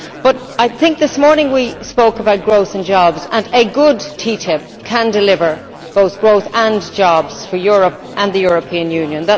But this morning we spoke about growth and jobs and a good TTIP can deliver both growth and jobs for Europe and the European Union.